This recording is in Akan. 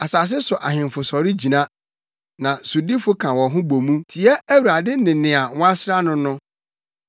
Asase so ahemfo sɔre gyina na sodifo ka wɔn ho bɔ mu tia Awurade ne Nea Wɔasra no no.